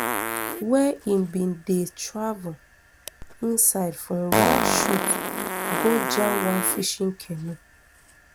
wey im bin dey travel inside from one shoot go jam one fishing canoe